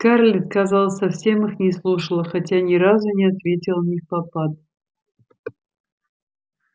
скарлетт казалось совсем их не слушала хотя ни разу не ответила невпопад